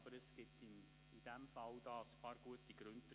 In diesem Fall gibt es dafür ein paar gute Gründe.